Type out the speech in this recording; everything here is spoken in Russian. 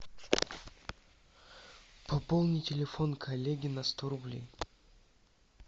пополни телефон коллеги на сто рублей